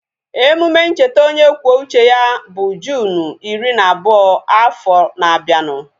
Emume ncheta onye kwuo uche ya bụ Juunu iri na abụọ afọ na abianu